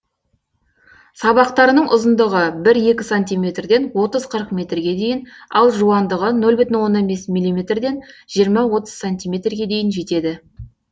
сабақтарының ұзындығы бір екі сантиметрден отыз қырық метрге дейін ал жуандығы нөл бүтін бес миллиметрден жиырма отыз сантиметрге дейін жетеді